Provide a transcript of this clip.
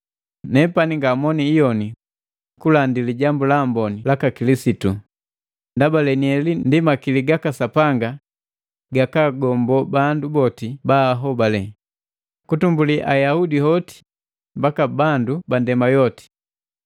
Nepani ngamoni iyoni kulandi Lijambu la Amboni laka Kilisitu, ndaba lenieli ndi makili gaka Sapanga gakaagombo bandu boti baahobale, kutumbuli Ayaudi hoti mbaki bandu ba nndema yoti.